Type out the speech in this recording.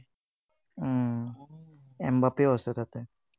এমবাপেও আছে তাতে।